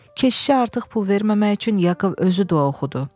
Keşişə artıq pul verməmək üçün Yakov özü dua oxudu.